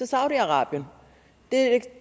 saudi arabien det